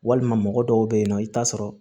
Walima mɔgɔ dɔw bɛ yen nɔ i bɛ t'a sɔrɔ